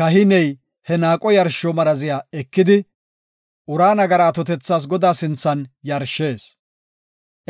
Kahiney he naaqo yarsho maraziya ekidi, ura nagara atotethas Godaa sinthan yarshees;